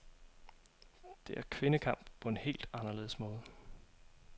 Det er kvindekamp på en helt anderledes måde.